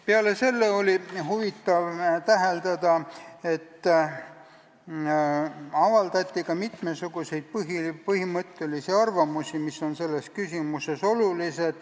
Peale selle oli huvitav täheldada, et avaldati ka mitmesuguseid põhimõttelisi arvamusi, mis on selles küsimuses olulised.